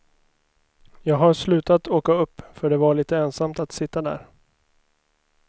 Jag har slutat åka upp för det var lite ensamt att sitta där.